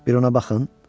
Bir ona baxın.